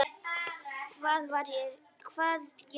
Hvað ég var sæl.